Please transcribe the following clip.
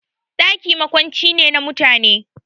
Ɗaki makwanci ne na mutane